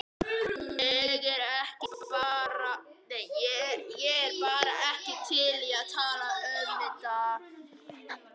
Ég er bara ekki til í að tala um þetta.